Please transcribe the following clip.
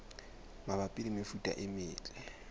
mabapi le mefuta e metle